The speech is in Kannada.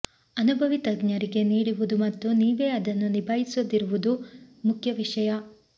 ಅನುಭವಿ ತಜ್ಞರಿಗೆ ನೀಡುವುದು ಮತ್ತು ನೀವೇ ಅದನ್ನು ನಿಭಾಯಿಸದಿರುವುದು ಮುಖ್ಯ ವಿಷಯ